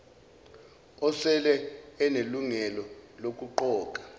osele enelungelo lokuqoka